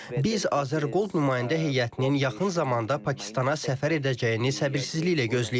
Biz AzərGold nümayəndə heyətinin yaxın zamanda Pakistana səfər edəcəyini səbirsizliklə gözləyirik.